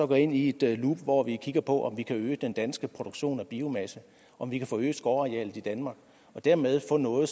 gå ind i et loop hvor vi kigger på om vi kan øge den danske produktion af biomasse om vi kan forøge skovarealet i danmark og dermed få noget